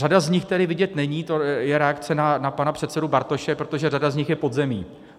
Řada z nich tedy vidět není, to je reakce na pana předsedu Bartoše, protože řada z nich je pod zemí.